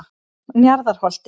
Njarðarholti